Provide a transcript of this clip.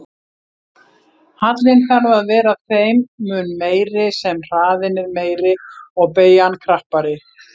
Hallinn þarf að vera þeim mun meiri sem hraðinn er meiri og beygjan krappari.